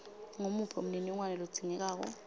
nguwuphi umniningwano lodzingekako